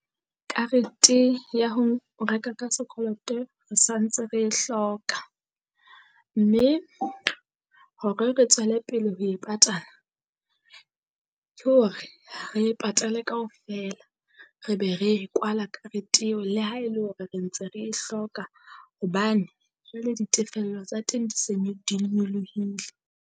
Karete ya ho o reka ka sekoloto re santse re e hloka. mme hore re tswele pele ho e patala ke hore re e patale kaofela re be re kwala karete eo le ha e le hore re ntse re e hloka. Hobane jwale ditefello tsa teng di se di nyolohile.